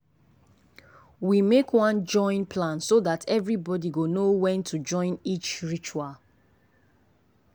we make one join plan so that every body go know when to join each ritual.